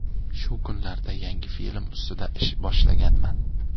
Shu kunlarda yangi film ustida ish boshlaganman.